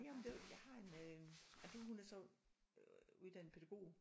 Jamen det er jo jeg har en øh ej det hun er så uddannet pædagog